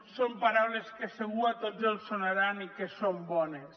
són paraules que de ben segur a tots els deuen sonar i que són bones